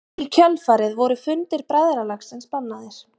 í kjölfarið voru fundir bræðralagsins bannaðir